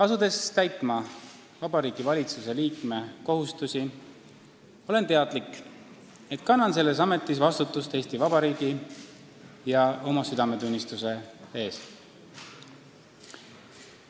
Asudes täitma Vabariigi Valitsuse liikme kohustusi, olen teadlik, et kannan selles ametis vastutust Eesti Vabariigi ja oma südametunnistuse ees.